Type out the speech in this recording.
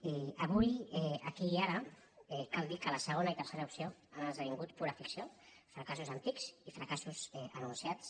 i avui aquí i ara cal dir que la segona i tercera opcions han esdevingut pura ficció fracassos antics i fracassos anunciats